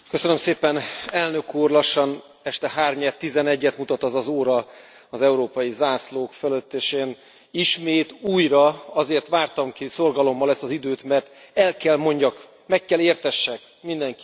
Elnök Úr, lassan este 11 et mutat az az óra az európai zászlók fölött és én ismét újra azért vártam ki szorgalommal ezt az időt, mert el kell mondjak, meg kell értessek mindenkivel valamit.